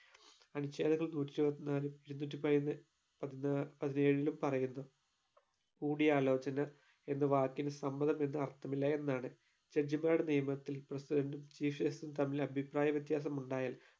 അനുച്ഛേദങ്ങൾ നൂറ്റി ഇരുപത്തി നാലും ഇരുന്നൂറ്റി പൈന്ന് പത്നാ പതിനേഴിലും പറയുന്നു കൂടിയാലോചന എന്ന് വാക്കിന് സമ്മതമെന്ന് അർത്ഥമില്ല എന്നാണ് judge മാർ നിയമത്തിൽ president ഉം chief justice ഉം തമ്മിൽ അഭിപ്രായ വ്യത്യാസം ഉണ്ടായാൽ